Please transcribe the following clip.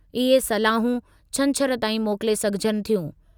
इहे सलाहूं छंछरु ताईं मोकिले सघिजनि थियूं।